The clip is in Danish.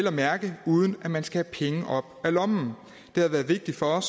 at mærke uden at man skal have penge op af lommen det har været vigtigt for